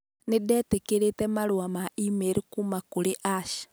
Nĩ ndetĩkĩrĩte marũa ma e-mail kuuma kũrĩ Ash